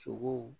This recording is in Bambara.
Sogow